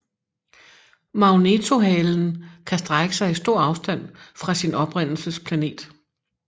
Magnetohalen kan strække sig i stor afstand fra sin oprindelsesplanet